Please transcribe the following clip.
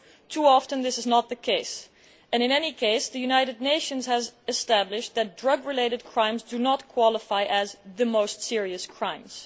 Too often, this is not the case and, in any case, the United Nations has established that drug related crimes do not qualify as the most serious crimes.